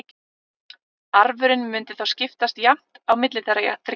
Arfurinn mundi þá skiptast jafnt á milli þeirra þriggja.